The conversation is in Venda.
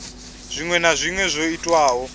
zwinwe na zwinwe zwo itwaho